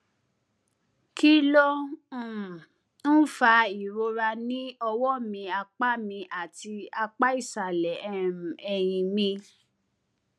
kí ló um ń fa ìrora ní ọwó mi apá mi àti apá ìsàlè um èyìn mi